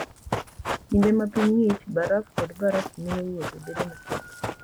Kinde ma piny ng'ich, baraf kod baraf miyo wuotho bedo matek.